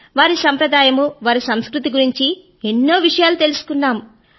వారి సంప్రదాయము వారి సంస్కృతి గురించి ఎన్నో విషయాలు తెలుసుకున్నాము